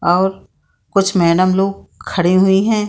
और कुछ मैडम लोग खड़े हुई हैं ।